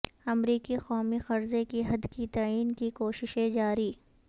امریکی قومی قرضے کی حدکے تعین کی کوششیں جاری